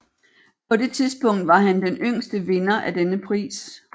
På det tidspunkt var han den yngste vinder af denne pris